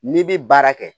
N'i bi baara kɛ